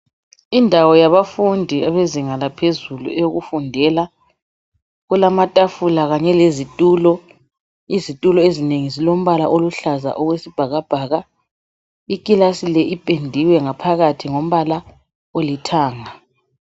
Indawo yabafundi ebezinga laphezulu eyokufundela, kulamathafula khanye lezithulo, izithulo ezinengi zilombala oluhlaza okwesibhakabhaka. Ikilasi le iphendiwe ngaphakathi ngombala olithanga.